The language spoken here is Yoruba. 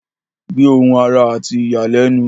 Gbẹ́ ohun àrà àti ìyàlẹ́nu.